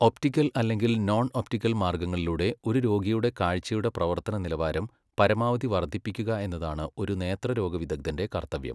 Optical അല്ലെങ്കിൽ non optical മാർഗങ്ങളിലൂടെ ഒരു രോഗിയുടെ കാഴ്ചയുടെ പ്രവർത്തന നിലവാരം പരമാവധി വർദ്ധിപ്പിക്കുക എന്നതാണ് ഒരു നേത്രരോഗ വിദഗ്ധന്റെ കർത്തവ്യം.